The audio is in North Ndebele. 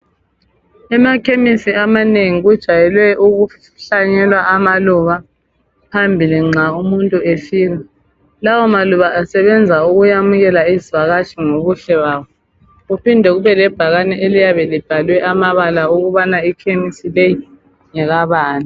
emakhemisi amanengi kujwayelwe ukuhlanyelwa amaluba phampi nxa umuntu efika lawa maluba asebeenza ukuyamukela isivakatshi ngobuhle babo kuphinde kubele bhakane eliyabe libhaliwe ukuthi ikhemisi leyi ngekabani